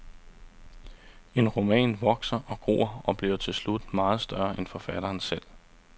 En roman vokser og gror og bliver til slut meget større end forfatteren selv.